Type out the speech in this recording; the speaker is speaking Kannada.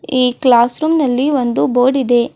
ಈ ಕ್ಲಾಸ್ ರೂಮ್ ನಲ್ಲಿ ಒಂದು ಬೋರ್ಡ್ ಇದೆ.